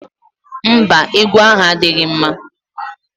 Mba, egwu ahụ adịghị mma